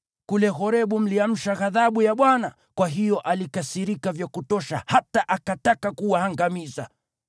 Kule Horebu mliamsha ghadhabu ya Bwana , kwa hiyo alikasirika vya kutosha hata akataka kuwaangamiza.